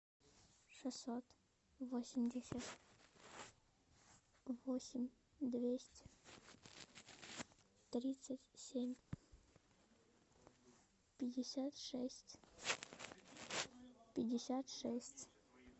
шестьсот восемьдесят восемь двести тридцать семь пятьдесят шесть пятьдесят шесть